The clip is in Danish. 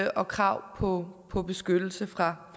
og krav på på beskyttelse fra